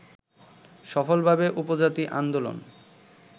সফলভাবে উপজাতি আন্দোলন